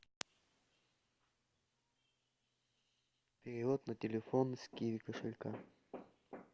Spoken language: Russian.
перевод на телефон с киви кошелька